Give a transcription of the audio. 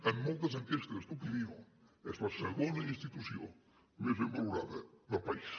en moltes enquestes d’opinió és la segona institució més ben valorada del país